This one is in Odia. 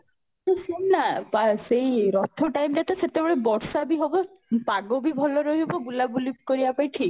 ତୁ ଶୁଣ ନା ତ ସେଇ ରଥ time ରେ ତ ସେତେବେଳେ ବର୍ଷା ବି ହବ ପାଗ ବି ଭଲ ରହିବ ବୁଲା ବୁଲି କରିବା ପାଇଁ ଠିକ